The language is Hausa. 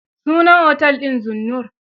Sunan otel din Zinnur.